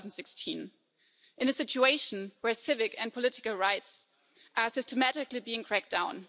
2016 in a situation where civic and political rights are systematically being cracked down